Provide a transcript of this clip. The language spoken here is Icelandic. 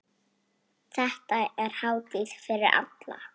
Þetta er hátíð fyrir alla.